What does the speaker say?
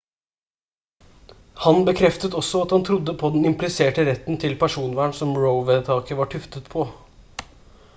han bekreftet også at han trodde på den impliserte retten til personvern som roe-vedtaket var tuftet på